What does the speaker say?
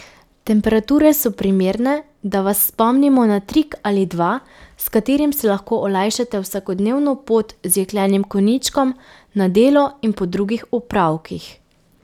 Temperature so primerne, da vas spomnimo na trik ali dva, s katerim si lahko olajšate vsakodnevno pot z jeklenim konjičkom na delo in po drugih opravkih.